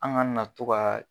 An kana to ka.